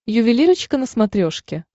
ювелирочка на смотрешке